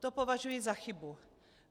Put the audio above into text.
To považuji za chybu.